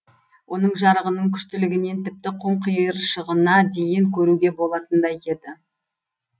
оның жарығының күштілігінен тіпті құм қиыршығына дейін көруге болатындай еді